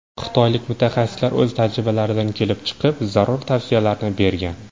Xitoylik mutaxassislar o‘z tajribalaridan kelib chiqib zarur tavsiyalarni bergan.